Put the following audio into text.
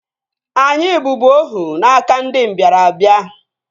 Anyị bụbu ohu n'aka ndị mbịarambịa